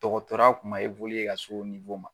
Dɔkɔtɔrɔya kuma ka s'o ma.